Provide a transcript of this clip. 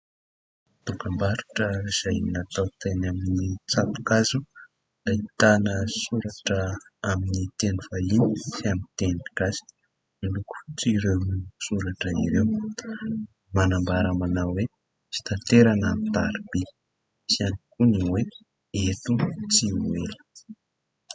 Dokam-barotra izay natao teny amin'ny tsato-kazo ahitana soratra amin'ny teny vahiny sy amin'ny teny gasy, miloko fotsy ireo soratra ireo. Manambara manao hoe fitaterana amin'ny tariby sy ihany koa ny hoe eto tsy ho ela.